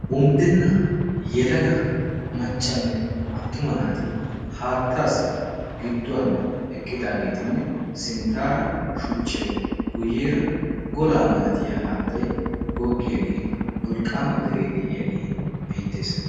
Unddenna yelaga maccanne attuma naati haattaassi gidduwan eqqidaageetinne sinttaara shuchchai guyyeera golaa malatiya haattay goggiyaagee wolqqaama deree de'iyaagee beettees.